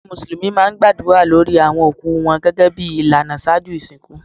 Awọn musulumi gbadura lórí awọn okú wọn gẹ́gẹ́bí ilànà ṣájú isínkú.